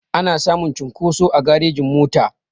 Ana samun cunkoso a garejin mota